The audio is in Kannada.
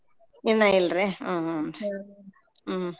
ಇನ್ನ ಇಲ್ರೀ ಹ್ಮ್ ಹ್ಮ್ ರಿ ಹ್ಮ್.